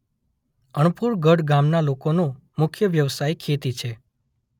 અણપુર ગઢ ગામના લોકોનો મુખ્ય વ્યવસાય ખેતી છે.